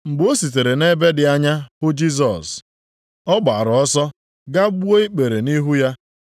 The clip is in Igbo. Mgbe o sitere nʼebe dị anya hụ Jisọs, ọ gbaara ọsọ gaa gbuo ikpere nʼihu ya.